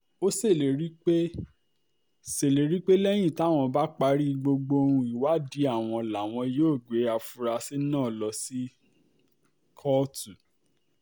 ó ṣèlérí pé ṣèlérí pé lẹ́yìn táwọn bá parí gbogbo um ìwádìí àwọn làwọn yóò gbé àfúrásì náà lọ sí um kóòtù